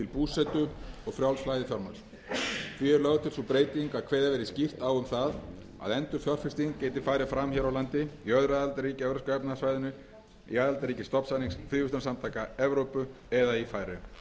búsetu og frjálst flæði fjármagns því er lögð til sú breyting að kveðið verði skýrt á um það að endurfjárfesting geti farið fram hér á landi í öðru aðildarríki á evrópska efnahagssvæðinu í aðildarríki stofnsamnings fríverslunarsamtaka evrópu eða í færeyjum í þriðja lagi